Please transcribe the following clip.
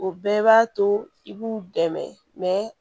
O bɛɛ b'a to i b'u dɛmɛ